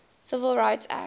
civil rights act